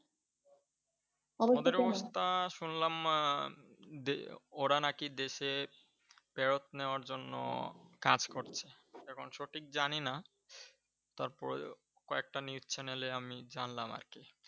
ওদের অবস্থা শুনলাম, আহ উম দে ওরা নাকি দেশে ফেরত নেওয়ার জন্য কাজ করছে। এখন সঠিক জানি না। তারপরে কয়েকটা News channel এ আমি জানলাম আর কি।